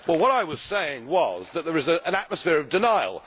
What I was saying was that there is an atmosphere of denial.